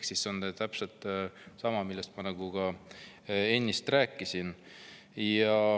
See on täpselt sama, millest ma ennist rääkisin.